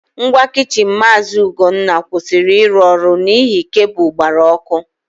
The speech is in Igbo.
Ngwa kichin Maazị Ugonna kwụsịrị ịrụ ọrụ n'ihi kabụl gbara ọkụ.